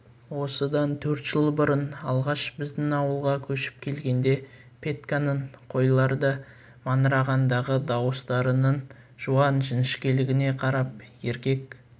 осыдан төрт жыл бұрын алғаш біздің ауылға көшіп келгенде петьканың қойларды маңырағандағы дауыстарының жуан жіңішкелігіне қарап еркек